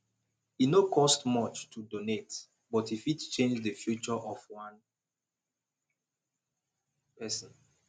e no cost much to donate but e fit change the future of one person